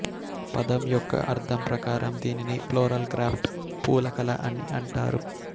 పదం యొక్క అర్థం ప్రకారం దీనిని ప్లోరల్ క్రాఫ్ట్ పూల కళ అని అంటారు